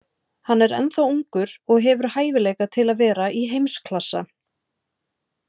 Hann er ennþá ungur og hefur hæfileika til að vera í heimsklassa.